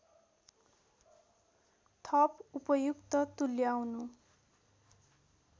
थप उपयुक्त तुल्याउनु